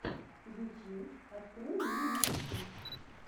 ютьюб открой мне миксы